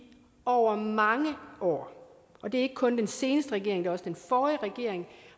over mange år og det er ikke kun den seneste regering men også den forrige regering